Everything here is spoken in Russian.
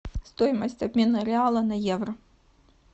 стоимость обмена реала на евро